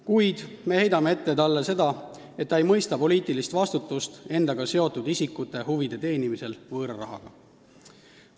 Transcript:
Kuid me heidame talle ette seda, et ta ei mõista poliitilist vastutust endaga seotud isikute huvide võõra rahaga teenimise eest.